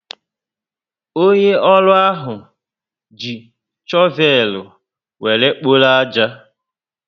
Onye ọrụ ahụ ji chovel were kpọrọ aja